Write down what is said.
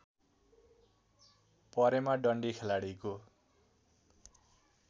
परेमा डन्डी खेलाडीको